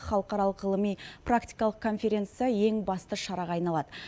халықаралық ғылыми практикалық конференция ең басты шараға айналады